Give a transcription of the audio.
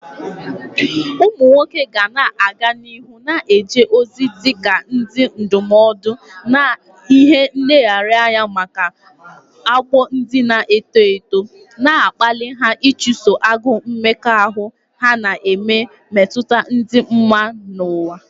Ụmụ nwoke ga-aga n'ihu na-eje ozi dị ka ndị ndụmọdụ na ihe nlereanya maka ọgbọ ndị na-eto eto, na-akpali ha ịchụso agụụ mmekọahụ ha na ime mmetụta dị mma n'ụwa.